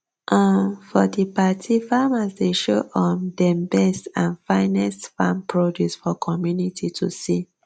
um for di party farmers dey show um dem best and finest farm produce for community to see